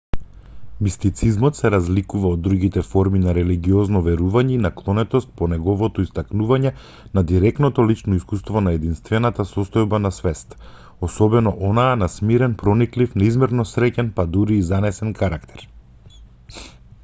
мистицизмот се разликува од другите форми на религиозно верување и наклонетост по неговото истакнување на директното лично искуство на единствената состојба на свест особено онаа на смирен прониклив неизмерно среќен па дури и занесен карактер